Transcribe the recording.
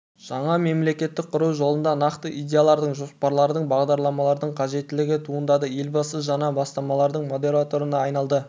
жаңа мемлекеттік құру жолында нақты идеялардың жоспарлардың бағдарламалардың қажеттігі туындады елбасы жаңа бастамалардың модераторына айналды